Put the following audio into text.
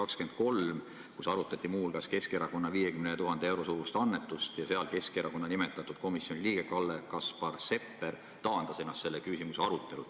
Siis arutati muu hulgas Keskerakonna 50 000 euro suurust annetust ja Keskerakonna nimetatud komisjoni liige Kalle-Kaspar Sepper taandas ennast selle küsimuse arutelul.